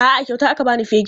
A'a, a kyauta aka ba ni fegin.